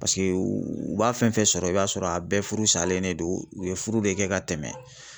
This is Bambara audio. Paseke u b'a fɛn fɛn sɔrɔ i b'a sɔrɔ a bɛɛ furu salen de don u ye furu de kɛ ka tɛmɛ.